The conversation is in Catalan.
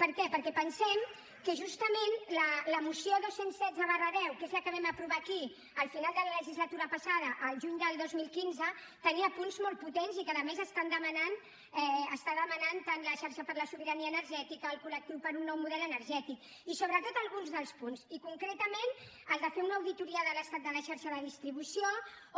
per què perquè pensem que justament la moció dos cents i setze x que és la que vam aprovar aquí al final de la legislatura passada el juny del dos mil quinze tenia punts molt potents i que a més està demanant tant la xarxa per la sobirania energètica el col·lectiu per un nou model energètic i sobretot alguns dels punts i concretament el de fer una auditoria de l’estat de la xarxa de distribució